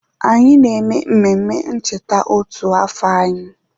Anyị na-eme mmemme ncheta otu afọ echi